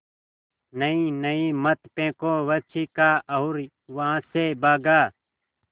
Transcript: नहीं नहीं मत फेंको वह चीखा और वहाँ से भागा